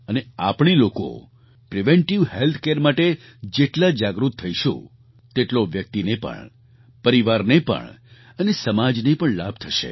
અને આપણે લોકો પ્રિવેન્ટિવ હેલ્થ કેર માટે જેટલા જાગૃત થઈશું તેટલો વ્યક્તિને પણ પરિવારને પણ અને સમાજને પણ લાભ થશે